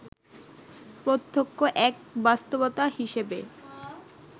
প্রত্যক্ষ এক বাস্তবতা হিসেবে